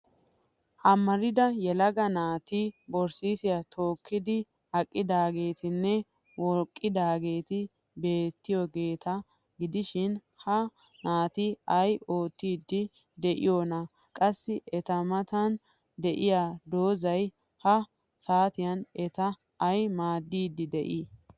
Amarida yelaga naati borssay tookkidi aqqidaageetinne wokkidaageeti beettiyaageeta gidishin ha naati ay oottiiddi de'iyonaa? Qassi eta matan de'iya doozzay ha saatiyan eta ay maaddiidi de'ii?